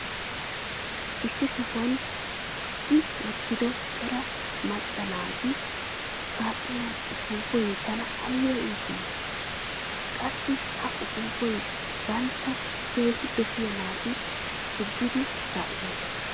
Issi sohuwan puggi wotido cora macca naati kaa'iyo uppuuppay tana aybba iittii? Qassi ha uppuuppay banttana keehi dossiya naati puggidi kaa'iyooba.